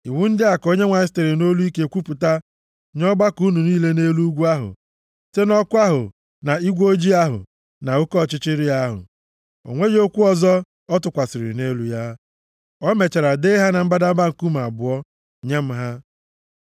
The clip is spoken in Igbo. Iwu ndị a ka Onyenwe anyị sitere nʼolu ike kwupụta nye ọgbakọ unu niile nʼelu ugwu ahụ, site nʼọkụ ahụ na igwe ojii ahụ na oke ọchịchịrị ahụ. O nweghị okwu ọzọ o tụkwasịrị nʼelu ya. O mechara dee ha na mbadamba nkume abụọ, nye m ha.